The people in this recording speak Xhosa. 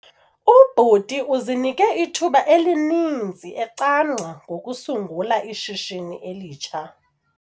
Ubhuti uzinike ithuba elininzi ecamngca ngokusungula ishishini elitsha.